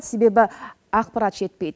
себебі ақпарат жетпейді